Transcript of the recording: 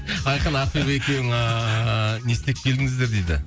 айқын ақбибі екеуің ыыы не істеп келдіңіздер дейді